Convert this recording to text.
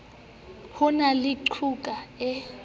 ho na le qhoku e